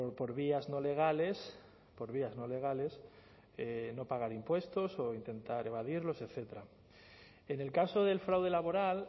por vías no legales por vías no legales no pagar impuestos o intentar evadirlos etcétera en el caso del fraude laboral